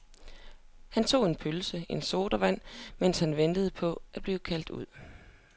Han tog en pølse og en sodavand, mens han ventede på at blive kaldt ud.